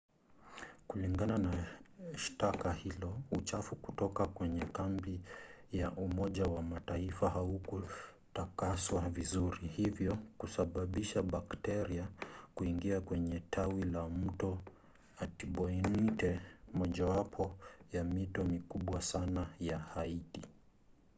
kulingana na shtaka hilo uchafu kutoka kwenye kambi ya umoja wa mataifa haukutakaswa vizuri hivyo kusababisha bakteria kuingia kwenye tawi la mto artibonite mojawapo ya mito mikubwa sana ya haiti